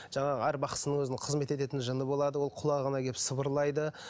жаңағы әр бақсының өзінің қызмет ететін жыны болады ол құлағына келіп сыбырлайды